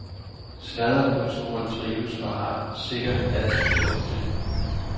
Sladderkulturen trives og har sikkert altid gjort det.